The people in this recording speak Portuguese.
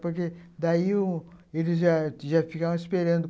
Porque daí um, eles já ficavam esperando.